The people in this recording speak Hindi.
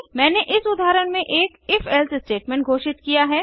मैंने इस उदाहरण में एक if एल्से स्टेटमेंट घोषित किया है